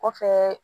Kɔfɛ